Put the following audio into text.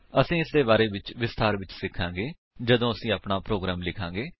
ਅਸੀ ਇਸਦੇ ਬਾਰੇ ਵਿੱਚ ਵਿਸਥਾਰ ਵਿਚ ਸਿਖਾਂਗੇ ਜਦੋਂ ਅਸੀ ਆਪਣਾ ਪ੍ਰੋਗਰਾਮ ਲਿਖਾਂਗੇ